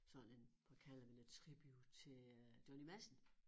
Sådan en hvad kalder vi det tribute til øh Johnny Madsen